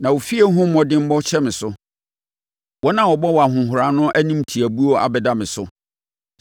na wo fie ho mmɔdemmɔ hyɛ me so, wɔn a wɔbɔ wo ahohora no animtiabuo abɛda me so.